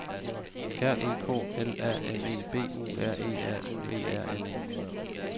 R E K L A M E B U R E A U E R N E